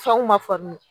Fɛnw ma faamu